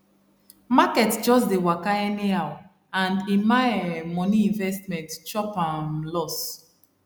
market just dey waka anyhow and emma um money investment chop um loss